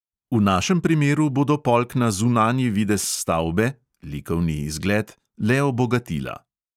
V našem primeru bodo polkna zunanji videz stavbe (likovni izgled) le obogatila.